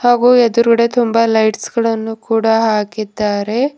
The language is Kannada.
ಹಾಗು ಎದುರಗಡೆ ತುಂಬಾ ಲೈಟ್ಸ್ ಗಳನ್ನು ಕೂಡ ಹಾಕಿದ್ದಾರೆ.